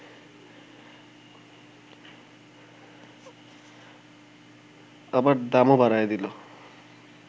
আবার দামও বাড়ায়ে দিল